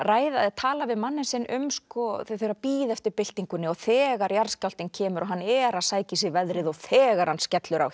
tala við manninn sinn þau eru að bíða eftir byltingunni og þegar jarðskjálftinn kemur og hann er að sækja í veðrið og þegar hann skellur á